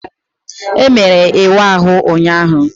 Emere ịwa ahụ ụnyaahụ.